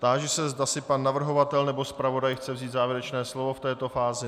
Táži se, zda si pan navrhovatel nebo zpravodaj chce vzít závěrečné slovo v této fázi.